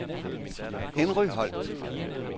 Henry Holt